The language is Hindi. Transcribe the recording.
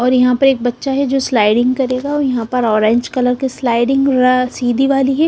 और यहां पर एक बच्चा है जो स्लाइडिंग करेगा और यहां पर ऑरेंज कलर की स्लाइडिंग र सीधी वाली है।